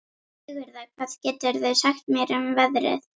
Sigurða, hvað geturðu sagt mér um veðrið?